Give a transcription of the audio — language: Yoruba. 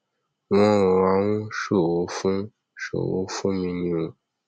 wọn rọra ń ṣòro fún ṣòro fún mi ni o